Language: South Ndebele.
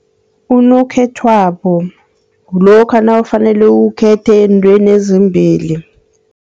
Unokhethwabo kulokha nawufanele ukhethe eentweni ezimbili.